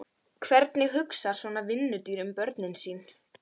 Hvernig hugsar svona vinnudýr um börnin sín?